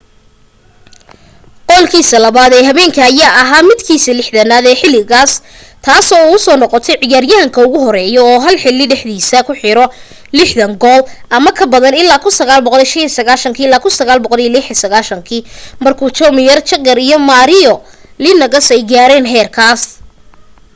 goolkiisa labaad ee habeenka ayaa ahaa midkiisa 60aad ee xiligaas taasoo uu ku noqday ciyaaryahanka ugu horeeyo oo hal xili dhexdiisa ku xiro 60 gool ama ka badan ilaa 1995-96 markuu jaromir jagr iyo mario lemieux ay gaareen heerkaas